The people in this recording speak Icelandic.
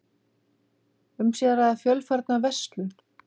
Um sé að ræða fjölfarna verslun